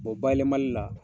bayɛlɛmali la